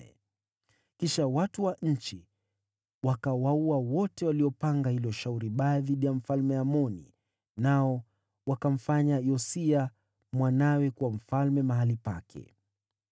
Kisha watu wa nchi wakawaua wale wote waliokuwa wamefanya hila dhidi ya Mfalme Amoni. Wakamfanya Yosia mwanawe kuwa mfalme mahali pake.